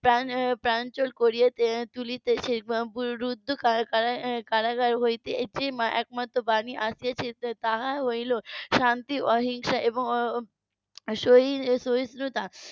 প্রাঞ্চল করে তুলছে রুদ্ধ কারা~ কারাগার হতে এটি একমাত্র বাণী আসছে তা হলো শান্তি অহিংসা এবং সহি~ সহিষ্ণুতা